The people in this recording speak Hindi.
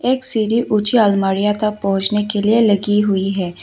एक सीढ़ी ऊंची अलमारियां तक पहुंचने के लिए लगी हुई है।